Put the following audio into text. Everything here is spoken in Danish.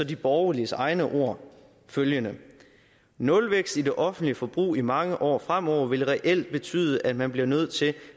de borgerliges egne ord følgende nulvækst i det offentlige forbrug i mange år frem over vil reelt betyde at man bliver nødt til